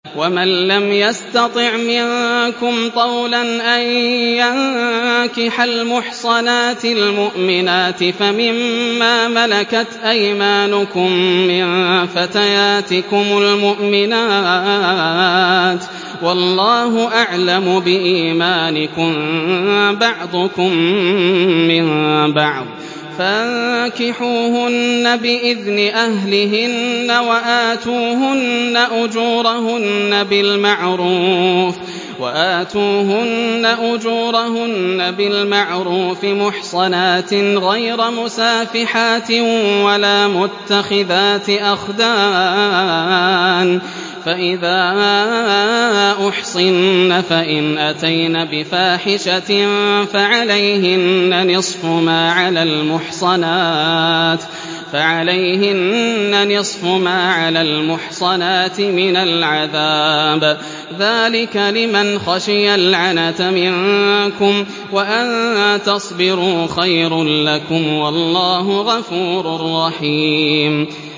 وَمَن لَّمْ يَسْتَطِعْ مِنكُمْ طَوْلًا أَن يَنكِحَ الْمُحْصَنَاتِ الْمُؤْمِنَاتِ فَمِن مَّا مَلَكَتْ أَيْمَانُكُم مِّن فَتَيَاتِكُمُ الْمُؤْمِنَاتِ ۚ وَاللَّهُ أَعْلَمُ بِإِيمَانِكُم ۚ بَعْضُكُم مِّن بَعْضٍ ۚ فَانكِحُوهُنَّ بِإِذْنِ أَهْلِهِنَّ وَآتُوهُنَّ أُجُورَهُنَّ بِالْمَعْرُوفِ مُحْصَنَاتٍ غَيْرَ مُسَافِحَاتٍ وَلَا مُتَّخِذَاتِ أَخْدَانٍ ۚ فَإِذَا أُحْصِنَّ فَإِنْ أَتَيْنَ بِفَاحِشَةٍ فَعَلَيْهِنَّ نِصْفُ مَا عَلَى الْمُحْصَنَاتِ مِنَ الْعَذَابِ ۚ ذَٰلِكَ لِمَنْ خَشِيَ الْعَنَتَ مِنكُمْ ۚ وَأَن تَصْبِرُوا خَيْرٌ لَّكُمْ ۗ وَاللَّهُ غَفُورٌ رَّحِيمٌ